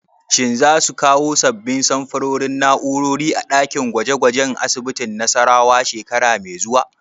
Shin za su kawo sabbin samfurin na'urori a ɗakin gwaje gwajen asibitin Nassarawa shekara mai zuwa?